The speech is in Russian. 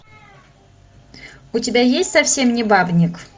у тебя есть совсем не бабник